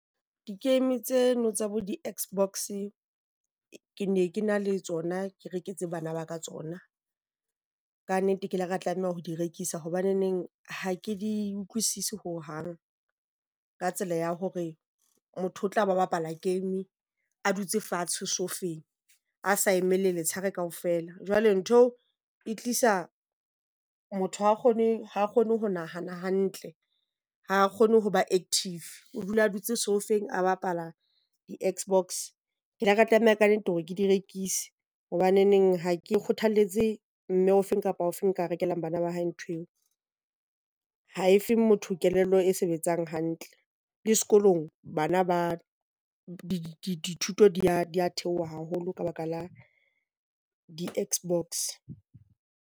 Ke emetse no tsa bo di-X-box, ke ne ke na le tsona ke reketse bana ba ka tsona. Kannete ke la ka tlameha ho di rekisa hobaneneng ha ke di utlwisise hohang, ka tsela ya hore motho o tla ba bapala game a dutse fatshe soufeng. A sa emelle letsheare kaofela. Jwale ntho e tlisa motho a kgone ha kgone ho nahana hantle ha kgone ho ba active. O dula a dutse soufeng a bapala di-X-box. Ke ile ka tlameha kannete hore ke di rekise hobaneneng ha ke kgothalletse mme ofeng kapa ofeng o ka rekelang bana ba hae ntho eo. Ha e fe motho kelello e sebetsang, hantle le sekolong bana ba dithuto di theoha haholo ka baka la di-X-box.